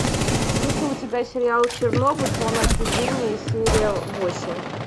есть ли у тебя сериал чернобыль зона отчуждения серия восемь